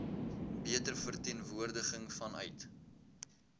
beter verteenwoordiging vanuit